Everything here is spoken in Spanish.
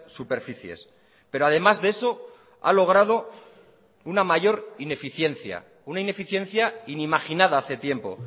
superficies pero además de eso ha logrado una mayor ineficiencia una ineficiencia inimaginada hace tiempo